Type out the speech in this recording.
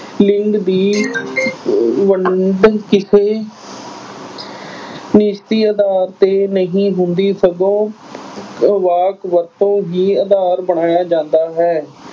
ਲਿੰਗ ਦੀ ਵੰਡ ਅਹ ਕਿਸੇ ਨਿਸ਼ਚਿਤ ਆਧਾਰ ਤੇ ਨਹੀਂ ਹੁੰਦੀ ਸਗੋਂ ਵਾਕ ਵਰਤੋਂ ਹੀ ਆਧਾਰ ਬਣਾਇਆ ਜਾਂਦਾ ਹੈ।